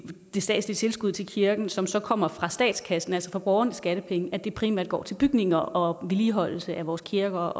det statslige tilskud til kirken som så kommer fra statskassen altså fra borgernes skattepenge primært går til bygninger og vedligeholdelse af vores kirker